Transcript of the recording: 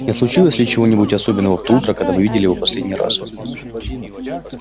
не случилось ли чего-нибудь особенного в то утро когда вы видели его в последний раз